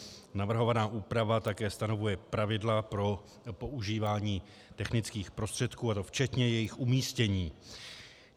Navrhovaná úprava také stanovuje pravidla pro používání technických prostředků, a to včetně jejich umístění.